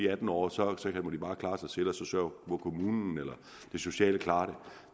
atten år og så må de klare sig selv og så må kommunen eller det sociale klare det